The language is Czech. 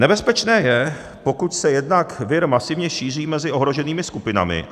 Nebezpečné je, pokud se jednak vir masivně šíří mezi ohroženými skupinami.